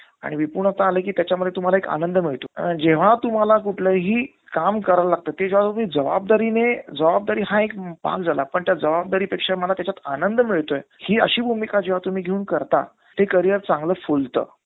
आणि निपुणता आलं कि त्याच्यामध्ये तुम्हाला एक आनंद मिळतो. जेव्हा तुम्हाला कुठलंही काम करायला लागतं ते जेव्हा तुम्ही जबाबदारीने, जबाबदारी हा एक भाग झाला. पण त्या जबाबदारी पेक्षा मला त्याच्यात आनंद मिळतोय हि अशी भूमिका जेव्हा तुम्ही त्याच्यात घेऊन करता ते career चांगलं फुलतं.